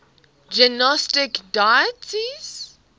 gnostic deities